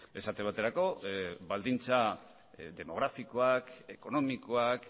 esate baterako baldintza demografikoak ekonomikoak